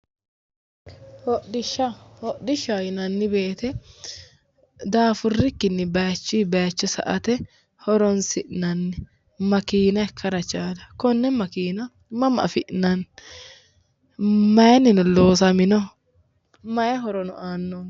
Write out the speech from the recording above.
Hodhishsha yinanni woyiite daffurrikkinni baayiichuyi baayiicho sa'ate horonsi'nanni makiina ikkara chaala konne makiina mama afi'nanni? maayiinnino loosaminoho? maayi horono aanno?